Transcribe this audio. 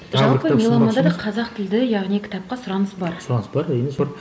меломанда да қазақ тілді яғни кітапқа сұраныс бар сұраныс бар